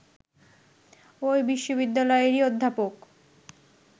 ঐ বিশ্ববিদ্যালয়েরই অধ্যাপক